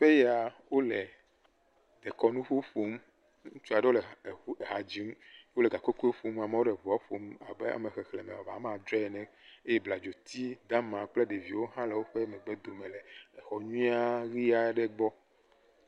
Teƒe ya wole kɔnu ƒo ƒom. Ŋutsu aɖewo le ha dzi. Wòle gakogoe ƒom, amewo le ʋua ƒom abe ame xexlẽme woame atɔ̃ene eye bladzo yi dama kple ɖeviwo le xɔ nyuie ɣie aɖe gbɔ.